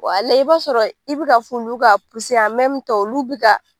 Walayi i b'a sɔrɔ i bi ka fɔ olu ka puse an mɛmin tan olu bi ka